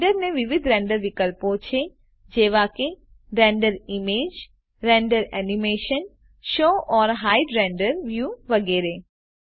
render ને વિવિધ render વિકલ્પો છે જેવા કે render image render animation show or hide render view વેગેરે